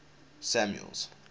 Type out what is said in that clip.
samuel's